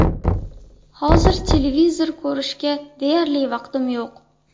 Hozir televizor ko‘rishga deyarli vaqtim yo‘q.